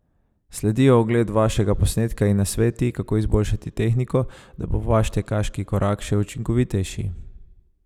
Sledijo ogled vašega posnetka in nasveti, kako izboljšati tehniko, da bo vaš tekaški korak še učinkovitejši!